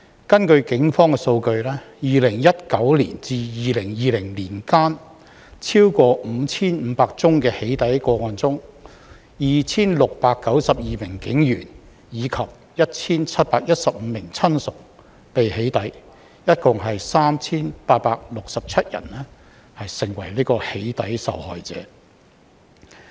根據警方數據 ，2019 年至2020年間，超過 5,500 宗的"起底"個案中 ，2,692 名警員及 1,715 名親屬被"起底"，共 3,867 人成為"起底"受害者。